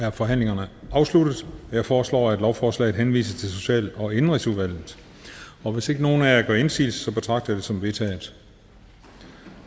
er forhandlingen afsluttet jeg foreslår at lovforslaget henvises til og indenrigsudvalget og hvis ikke nogen af jer gør indsigelse betragter jeg det som vedtaget